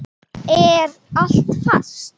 Er allt fast?